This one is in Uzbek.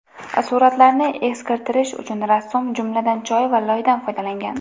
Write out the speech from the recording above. Suratlarni eskirtirish uchun rassom, jumladan, choy va loydan foydalangan.